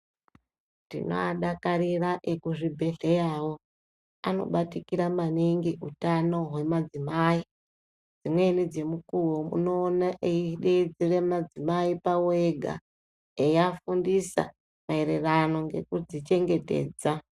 Tinowadakarira ekuzvibhedhlerawo, anobatikira maningi kuhutano wemadzimayi. Zvimweni dzimukuwo, unowona eyidedzera madzimayi ayipawega eyafundisa mayererano ngekudzichengetedza.